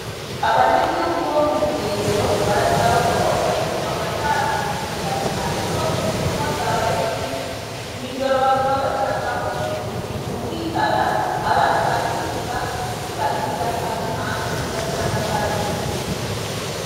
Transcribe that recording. Abanyagihugu bo mu Buyengero barasaba ko bofashishwa amatara na cane cane ko ubusuma bwabaye bwinshi, mw'ijoro baguma basangaho ibintu bitumvikana, abandi bakibwa, wibagiriye akantu hanze ugasanga kagiye.